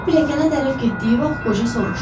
Ro pilləkənə tərəf getdiyi vaxt qoca soruşdu.